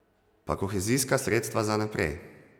Pa kohezijska sredstva za naprej.